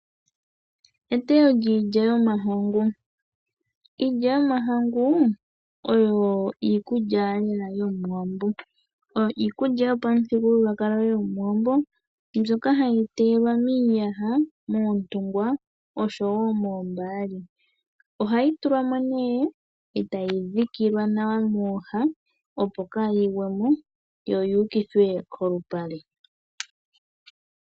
Etewo lyiilya yomahangu. Iilya yomahangu oyo iikulya lela yomuwambo. Oyo iikulya yopamuthigululwakalo yomuwambo. Mbyoka hayi teyelwa miiyaha, moontungwa oshowo moombali. Ohayi tulwa mo nee eta yi dhikilwa nawa mooha, opo kaayi gwemo yo yuukithwe polupale.